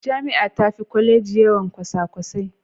Jami'a tafi Kwaleji yawan kwasakwasai.